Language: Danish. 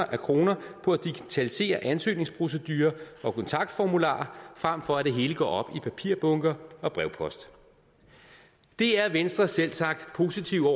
af kroner på at digitalisere ansøgningsprocedurer og kontaktformularer frem for at det hele går op i papirbunker og brevpost det er venstre selvsagt positive